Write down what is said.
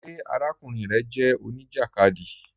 Ṣé àràkùnrin rẹ jẹ oníjakádí?